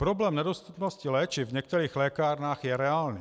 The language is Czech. Problém nedostupnosti léčiv v některých lékárnách je reálný.